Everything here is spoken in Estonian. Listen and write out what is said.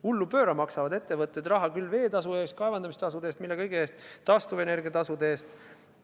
Ettevõtted maksavad hullupööra raha küll vee eest, küll kaevandamise eest – mille kõige eest –, taastuvenergia eest.